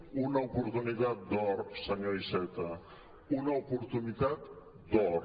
una oportunitat d’or senyor iceta una oportunitat d’or